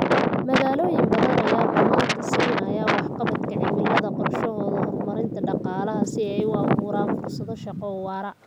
Magaalooyin badan ayaa mudnaanta siinaya waxqabadka cimilada qorshahooda horumarinta dhaqaalaha si ay u abuuraan fursado shaqo oo waara.